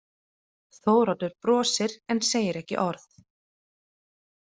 Þóroddur brosir en segir ekki orð.